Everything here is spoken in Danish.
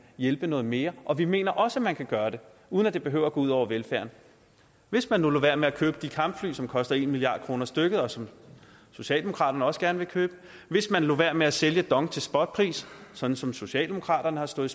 hjælpe noget mere og vi mener også man kan gøre det uden at det behøver at gå ud over velfærden hvis man nu lod være med at købe de kampfly som koster en milliard kroner stykket og som socialdemokraterne også gerne vil købe hvis man lod være med at sælge dong til spotpris sådan som socialdemokraterne har stået